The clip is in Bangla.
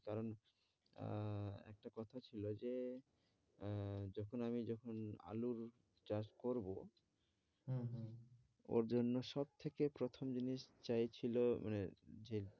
আহ একটা কথা ছিল যে আহ যখন আমি যখন আলুর চাষ করবো হম হম ওর জন্য সবথেকে প্রথম জিনিস চাইছিল মানে যে